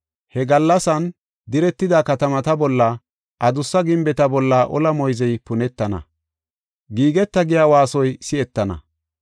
He gallasay diretida katamata bolla, adussa gimbeta bolla ola moyzey punetana; giigeta giya waasoy si7etana.